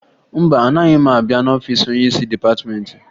Mba, anaghị m abịa n'ọfiisi onyeisi dịpatịmentị